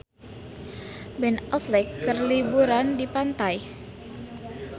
Ben Affleck keur liburan di pantai